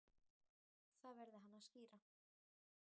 Það verði hann að skýra.